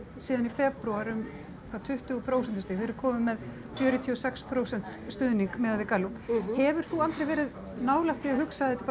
síðan í febrúar um hvað tuttugu prósentustig þið eruð komin með fjörutíu og sex prósent stuðning miðað við Gallup hefur þú aldrei verið nálægt því að hugsa þetta